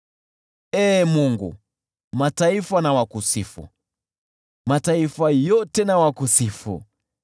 Ee Mungu, mataifa na wakusifu, mataifa yote na wakusifu.